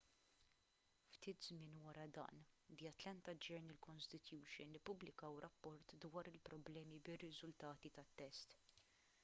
ftit żmien wara dan the atlanta journal-constitution ippubblikaw rapport dwar il-problemi bir-riżultati tat-test